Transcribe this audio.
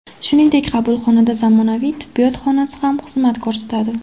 Shuningdek, qabulxonada zamonaviy tibbiyot xonasi ham xizmat ko‘rsatadi.